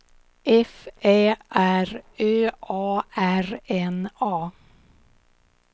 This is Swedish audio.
F Ä R Ö A R N A